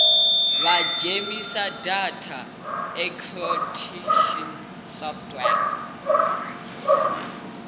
vha dzhenise data encryption software